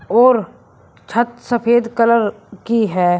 और छत सफेद कलर की है।